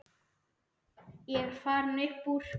Ég er farinn upp úr.